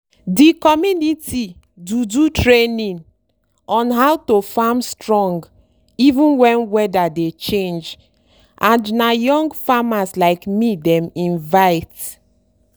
the community do do training on how to farm strong even when weather dey change and na young farmers like me dem invite.